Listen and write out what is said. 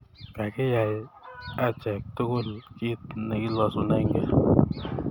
Kakiyai achek tugul kit ne kilosunegei